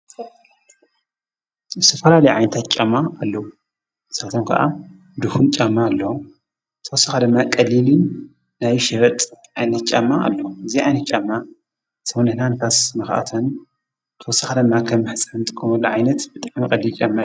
ብስፈላሊዓይንታት ጫማ ኣለዉ ንሠበቶም ከዓ ድሁን ጫማ ኣለ ተወሳኻ ደማ ቀሊል ናይሽበጥ ኣይነትጫማ ኣሎ እዚ ኣይን ጫማ ተውንህና ንፋስ መኽኣተን ተወሳኻ ደማ ኸም ሕሳን ቲ ኑለዓይነት ብጣመ ቐልል ጫማ እዩ ::